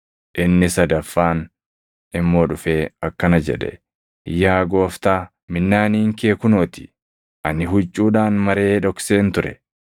“Inni sadaffaan immoo dhufee akkana jedhe; ‘Yaa Gooftaa, minnaaniin kee kunoo ti; ani huccuudhaan maree dhokseen ture.